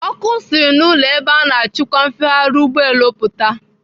Ọkụ siri n'ụlọ ebe a na-achịkwa mfegharị ụgbọelu pụta.